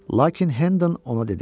Lakin Hendon ona dedi: